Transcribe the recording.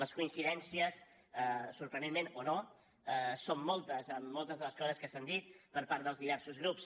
les coincidències sorprenentment o no són moltes amb moltes de les coses que s’han dit per part dels diversos grups